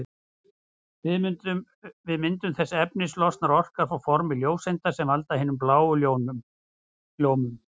Við myndun þessa efnis losnar orka á formi ljóseinda sem valda hinni bláu ljómun.